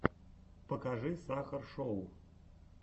покажи сахар шоу